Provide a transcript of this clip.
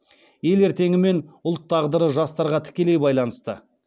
ел ертеңі мен ұлт тағдыры жастарға тікелей байланысты